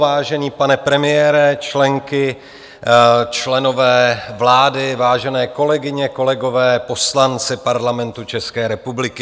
Vážený pane premiére, členky, členové vlády, vážené kolegyně, kolegové, poslanci Parlamentu České republiky.